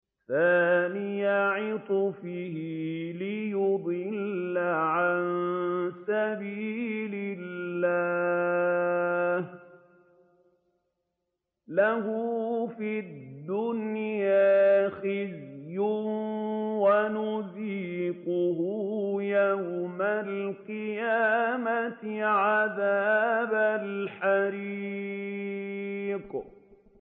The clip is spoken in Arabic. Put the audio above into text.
ثَانِيَ عِطْفِهِ لِيُضِلَّ عَن سَبِيلِ اللَّهِ ۖ لَهُ فِي الدُّنْيَا خِزْيٌ ۖ وَنُذِيقُهُ يَوْمَ الْقِيَامَةِ عَذَابَ الْحَرِيقِ